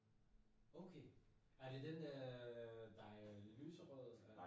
Okay! Er det den øh der er lyserød eller?